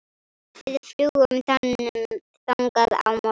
Við fljúgum þangað á morgun.